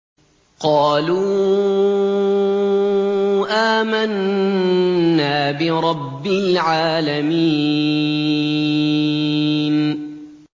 قَالُوا آمَنَّا بِرَبِّ الْعَالَمِينَ